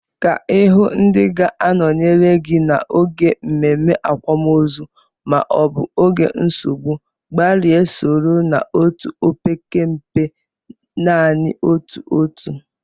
Ka Ị hụụ ndị ga-anọnyere gị n'oge mmemme, akwamozu maọbụ oge nsogbu, gbalịa soro n'otu, opekempe, naanị otu otu.